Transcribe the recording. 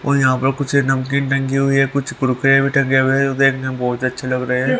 और यहां पर कुछ नमकीन टंगी हुई है कुछ कुरकुरे भी टंगे हुए हैं जो देखने में बहुत अच्छे लग रहे हैं--